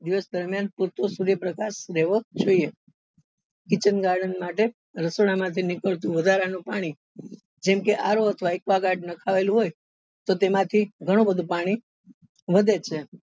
દિવસ દરમિયાન પુરતો સૂર્ય પ્રકાશ રેવો જોઈએ kitchen garden માટે રસોડા માં થી નીકળતું વધારા નું પાણી જેમ કે RO અથવા aquaguard નાખાયેલું હોય તો તેમાં થી ગણું બધું પાણી વધે છે.